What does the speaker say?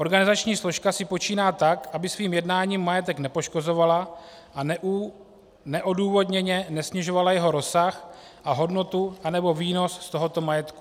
Organizační složka si počíná tak, aby svým jednání majetek nepoškozovala a neodůvodněně nesnižovala jeho rozsah a hodnotu anebo výnos z tohoto majetku.